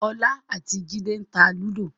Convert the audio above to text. ọlá àti jide ń tá Ludo